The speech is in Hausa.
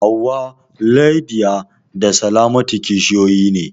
Hauwa, Lydia da Salamatu kishiyoyi ne.